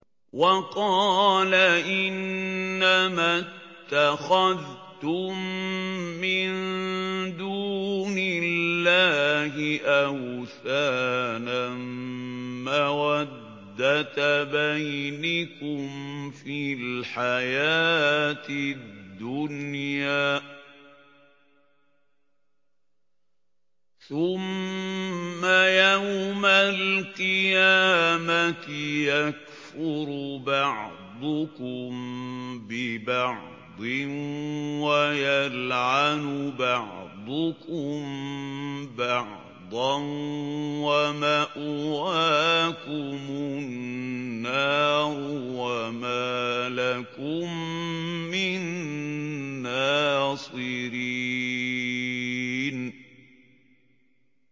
وَقَالَ إِنَّمَا اتَّخَذْتُم مِّن دُونِ اللَّهِ أَوْثَانًا مَّوَدَّةَ بَيْنِكُمْ فِي الْحَيَاةِ الدُّنْيَا ۖ ثُمَّ يَوْمَ الْقِيَامَةِ يَكْفُرُ بَعْضُكُم بِبَعْضٍ وَيَلْعَنُ بَعْضُكُم بَعْضًا وَمَأْوَاكُمُ النَّارُ وَمَا لَكُم مِّن نَّاصِرِينَ